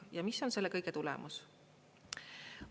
Ja mis on selle kõige tulemus?